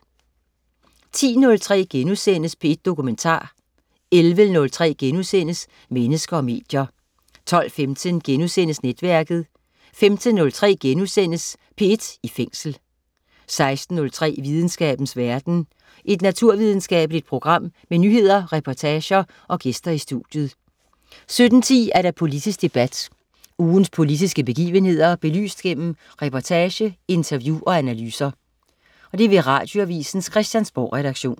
10.03 P1 Dokumentar* 11.03 Mennesker og medier* 12.15 Netværket* 15.03 P1 i Fængsel* 16.03 Videnskabens verden. Et naturvidenskabeligt program med nyheder, reportager og gæster i studiet 17.10 Politisk debat. Ugens politiske begivenheder belyst gennem reportage, interview og analyser. Radioavisens Christiansborgredaktion